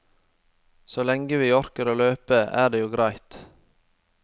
Så lenge vi orker å løpe, er det jo greit.